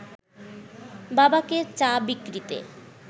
বাবাকে চা বিক্রিতে